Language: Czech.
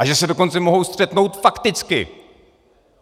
A že se dokonce mohou střetnout fakticky!